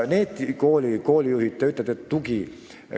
Te räägite toest.